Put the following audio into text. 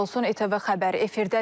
ATV Xəbər efirdədir.